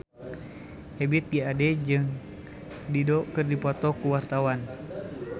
Ebith G. Ade jeung Dido keur dipoto ku wartawan